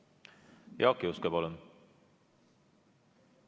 Jaak Juske, palun!